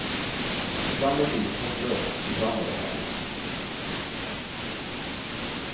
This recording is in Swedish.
Ibland är livet hopplöst, ibland är det härligt.